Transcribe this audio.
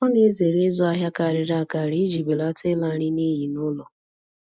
Ọ na-ezere ịzụ ahịa karịrị akarị iji belata ịla nri n'iyi n'ụlọ